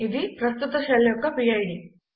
ఇది ప్రస్తుత షెల్ యొక్క పిడ్